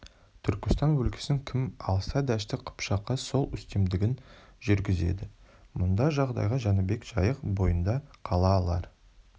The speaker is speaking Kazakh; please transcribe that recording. түркістан өлкесін кім алса дәшті қыпшаққа сол үстемдігін жүргізеді мұндай жағдайда жәнібек жайық бойында қала алар